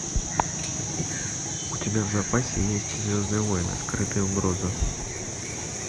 у тебя в запасе есть звездные войны скрытая угроза